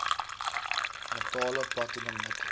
metale platinum nikkel